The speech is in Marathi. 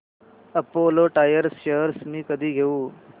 अपोलो टायर्स शेअर्स मी कधी घेऊ